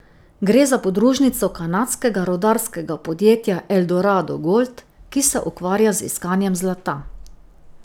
Gre za podružnico kanadskega rudarskega podjetja Eldorado Gold, ki se ukvarja z iskanjem zlata.